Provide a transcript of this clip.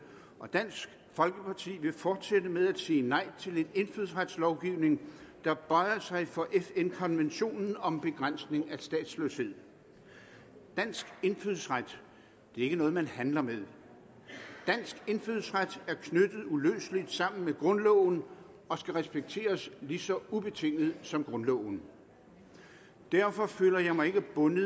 og dansk folkeparti vil fortsætte med at sige nej til en indfødsretslovgivning der bøjer sig for fn konventionen om begrænsning af statsløshed dansk indfødsret er ikke noget man handler med dansk indfødsret er uløseligt knyttet sammen med grundloven og skal accepteres lige så ubetinget som grundloven derfor føler jeg mig ikke bundet